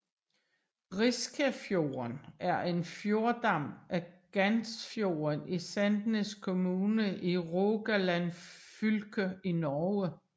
Riskafjorden er en fjordarm af Gandsfjorden i Sandnes kommune i Rogaland fylke i Norge